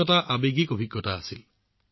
এইটো এটা আৱেগিক অভিজ্ঞতা আছিল